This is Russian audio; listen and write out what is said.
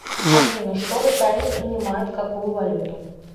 афина что в италии принимают какую валюту